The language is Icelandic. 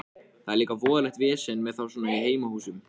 Það er líka voðalegt vesen með þá svona í heimahúsum.